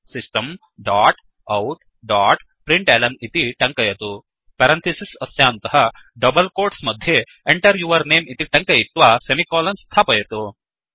system dot out dot println इति टङ्कयतु parenthesis अस्यान्तः डबल् कोट्स् मध्ये Enter यौर् नमे इति टङ्कयित्वा सेमिकोलन् स्थापयतु